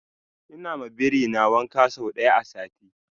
ina ma birin wanka sau daya a sati